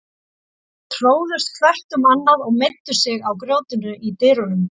Þau tróðust hvert um annað og meiddu sig á grjótinu í dyrunum.